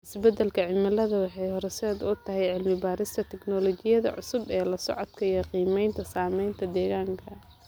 Isbeddelka cimiladu waxay horseed u tahay cilmi baarista tignoolajiyada cusub ee la socodka iyo qiimeynta saameynta deegaanka.